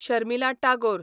Sharmila Tagore